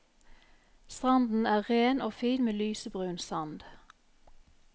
Stranden er ren og fin med lysebrun sand.